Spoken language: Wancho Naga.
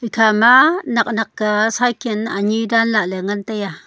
kha ma nak nak ka cycle ani daan lale ngan taiaa.